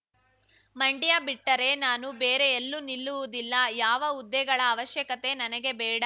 ಮಂಡ್ಯ ಬಿಟ್ಟರೆ ನಾನು ಬೇರೆ ಎಲ್ಲು ನಿಲ್ಲುವುದಿಲ್ಲ ಯಾವ ಹುದ್ದೆಗಳ ಅವಶ್ಯಕತೆ ನನಗೆ ಬೇಡ